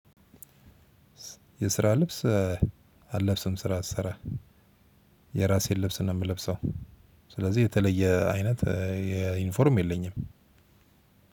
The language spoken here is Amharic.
የስራ ልብስ አልለብስም ስራ ስሰራ። የራሴን ልብስ ነው የምለብሰው። ስለዚህ የተለየ አይነት የዩኒፎርም የለኝም።